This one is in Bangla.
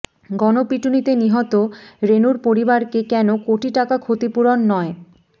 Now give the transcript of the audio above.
গণপিটুনিতে নিহত রেনুর পরিবারকে কেন কোটি টাকা ক্ষতিপূরণ নয়